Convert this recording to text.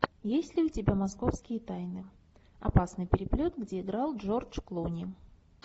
есть ли у тебя московские тайны опасный переплет где играл джордж клуни